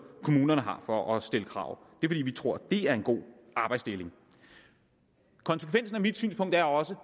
kommunerne har for at stille krav det vil vi tro er en god arbejdsdeling konsekvensen af mit synspunkt er også